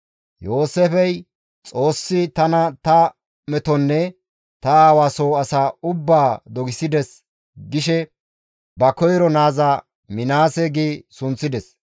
Yooseefey, «Xoossi tana ta metonne ta aawa soo asa ubbaa dogissides» gishe ba koyro naaza Minaase gi sunththides.